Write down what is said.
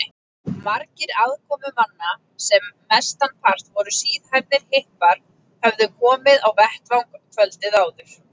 Margir aðkomumanna, sem mestanpart voru síðhærðir hippar, höfðu komið á vettvang kvöldið áður.